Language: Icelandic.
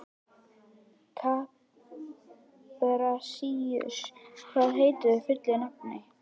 Kaprasíus, hvað heitir þú fullu nafni?